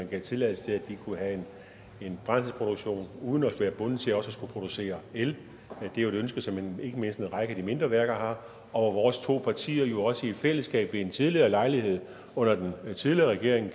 gav tilladelse til at de kunne have en brændselsproduktion uden at være bundet til også producere el det er jo et ønske som ikke mindst en række af de mindre værker har og vores to partier gav jo også i fællesskab ved en tidligere lejlighed under den tidligere regering